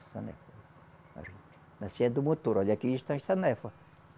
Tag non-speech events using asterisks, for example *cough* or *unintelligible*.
*unintelligible* Assim é do motor, olha, aqui está a sanefa.